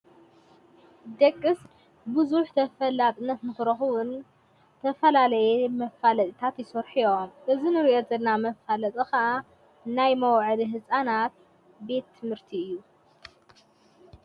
ደቅስ ብዙኅት ተፈላጥነት ምኽረኹዉን ዝተፈላለየ መፋለጥታት ይሶርሑ እዮም እዚ ንርኦትና መፋለጢ ኸዓ ናይ መውዕሊ ሕፃናት ቤ ትምህርቲ እዩ።